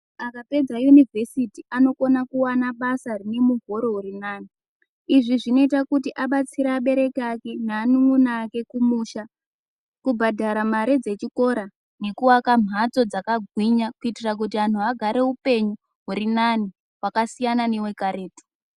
Akapedza univhesiti anokona kuwana basa rine muhoro uri nani izvi zvinoita kuti abatsire abereki ake neanun'una ake kumusha kubhadhara mare dzechikora nekuaka mhatso dzakagwinya kuitira kuti anhu agare upenyu huri nani wakasiyana newekaretu.